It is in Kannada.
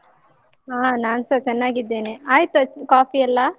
ಹ ನಾನ್ಸ ಚೆನ್ನಾಗಿದ್ದೇನೆ. ಆಯ್ತಾ coffee ಎಲ್ಲಾ?